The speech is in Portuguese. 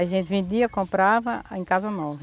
A gente vendia, comprava em Casa Nova.